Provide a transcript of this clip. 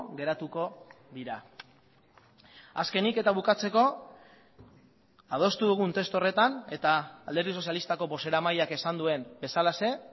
geratuko dira azkenik eta bukatzeko adostu dugun testu horretan eta alderdi sozialistako bozeramaileak esan duen bezalaxe